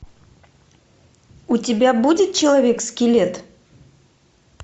у тебя будет человек скелет